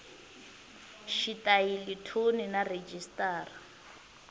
xitayili thoni na rhejisitara